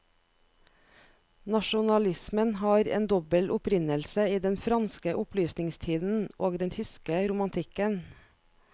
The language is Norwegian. Nasjonalismen har en dobbel opprinnelse i den franske opplysningstiden og den tyske romantikken.